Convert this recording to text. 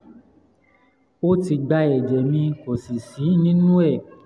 ó ti gba ẹ̀jẹ̀ mi kò sì sí nínú ẹ̀